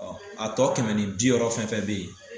Ɔ a tɔ kɛmɛ ni biwɔɔrɔ fɛn fɛn bɛ yen